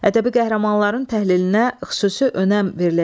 Ədəbi qəhrəmanların təhlilinə xüsusi önəm veriləcək.